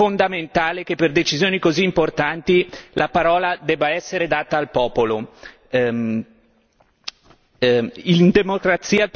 Il Movimento cinque stelle è per la democrazia diretta e ritiene fondamentale che per decisioni così importanti la parola debba essere data al popolo.